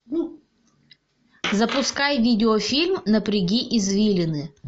запускай видеофильм напряги извилины